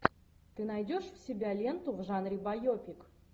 ты найдешь у себя ленту в жанре байопик